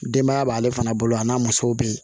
Denbaya b'ale fana bolo a n'a musow be yen